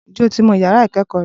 Ǹjẹ́ o ti mo ìyàrá ìkẹẹkọ rẹ?